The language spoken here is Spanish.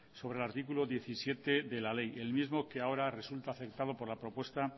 sobre el artículo diecisiete de la ley el mismo que ahora resulta afectado por la propuesta